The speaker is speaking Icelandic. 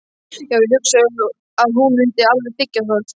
Já, ég hugsa að hún mundi alveg þiggja það!